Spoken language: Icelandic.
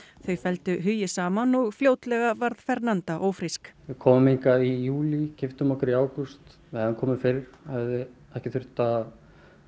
þau felldu hugi saman og fljótlega varð ófrísk við komum hingað í júlí giftum okkur í ágúst við hefðum komið fyrr hefði ekki þurft að